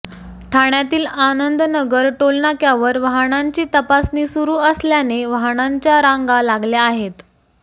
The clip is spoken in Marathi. ठाण्यातील आनंदनगर टोलनाक्यावर वाहनांची तपासणी सुरू असल्याने वाहनांच्या रांगा लागल्या आहेत